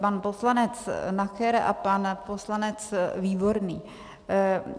Pan poslanec Nacher a pan poslanec Výborný.